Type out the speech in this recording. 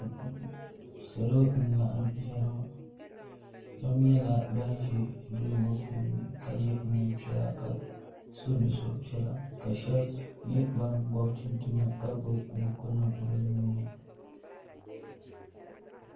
salo. n laɣim zaya ŋɔ shɛbi nyɛla ban ʒɛ do ŋɔ puuni ka yɛ nɛpiɛlla ka sonuripiɛlla ka nyɛ ban gubi chinichina ka gbabi bukunim be nuni